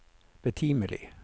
betimelig